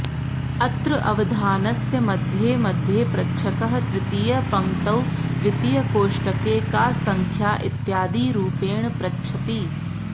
अत्र अवधानस्य मध्ये मध्ये प्रच्छकः तृतीयपङ्क्तौ द्वितीयकोष्टके का सङ्ख्या इत्यादिरूपेण पृच्छति